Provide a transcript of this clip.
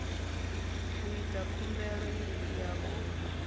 u ita khumbelo ya u